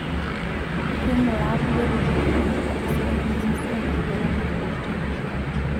Keing'uraa kulie tung'ana eneba esukari tosesen enkata nabo tenkolong'.